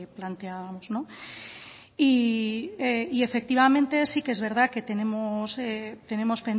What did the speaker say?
planteábamos y efectivamente sí que es verdad que tenemos